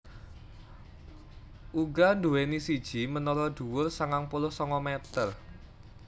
Uga nduwèni siji menara dhuwur sangang puluh sanga meter